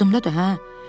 Yadımdadır, hə.